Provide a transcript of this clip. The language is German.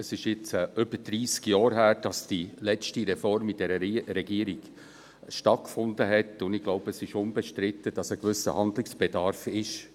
Es ist jetzt über dreissig Jahre her, seit die letzte Reform dieser Regierung stattgefunden hat, und ich glaube, es ist unbestritten, dass ein gewisser Handlungsbedarf vorhanden ist.